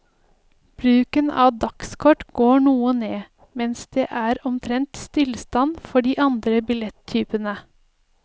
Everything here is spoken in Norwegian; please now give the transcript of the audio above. Bruken av dagskort går noe ned, mens det er omtrent stillstand for de andre billettypene.